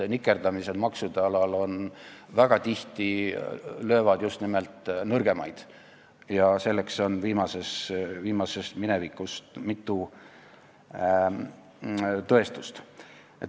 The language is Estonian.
Nikerdamised maksude alal löövad väga tihti just nimelt nõrgemaid ja selle kohta on hiljutisest minevikust mitu tõestust.